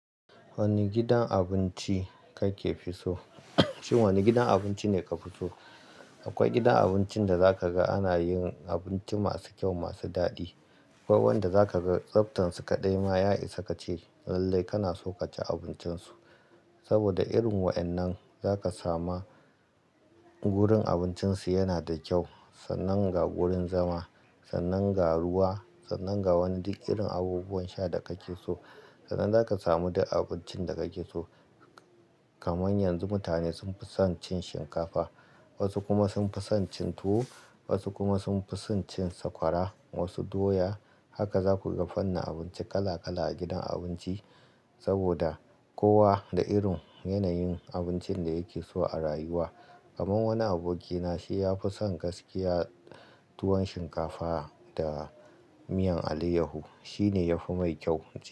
Wani gidan abinci kake fi so? Shin wane gidan abinci ne ka fi so? Akwai gidan abincin da zaka ga ana yin abinci masu kyau, masu daɗi. Akwai wanda zaka ga tsabtansu kaɗai ma, ya isa kace lallai kana son ka ci abincin su. Saboda irin wa'innan za ka samu wurin abincin su yana da kyau, sannan ga wurin zama, sannan ga ruwa, sannan ga wani duk irin abubuwan sha da kake so. Sannan za ka samu duk abincin da kake so. Kamar yanzu mutane sun fi son cin shinkafa, wasu kuma sun fi son cin tuwo, wasu kuma sun fi son cin sakwara, wasu doya. Haka za ku ga fannin abinci, kala kala a gidan abinci. Saboda kowa da irin yanayin abincin da yake so a rayuwa. Kamar wani aboki na, shi ya fi son gaskiya tuwon shinkafa da miyan alayyahu, shi ne ya fi mai kyau.